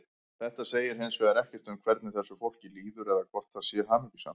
Þetta segir hins vegar ekkert um hvernig þessu fólki líður eða hvort það sé hamingjusamt.